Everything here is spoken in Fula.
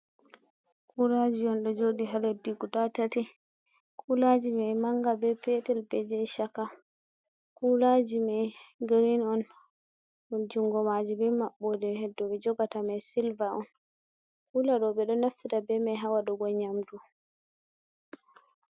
Kulaji on ɗo joɗi ha leddi guda tati, kulaji mai manga be petel be je chaka, kulaji mai girin on jungo maji be maɓbode he'd dou ɓe jogata mai sylva on kula ɗo ɓe ɗo naftira ɗe be mai ha waɗugo nyamdu.